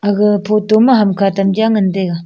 aga photo ma hamkha tam jaw ngan tega.